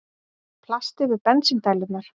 Plast yfir bensíndælurnar